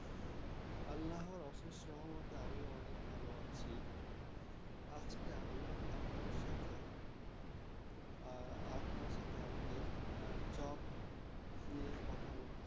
আল্লারহ অশেষ সহমতে আমি অনেক ভালো আছি আজকে আমি আপনার সাথে আ~ আপনার সাথে আমাদের হ্যাঁ job নিয়ে কথা বলতে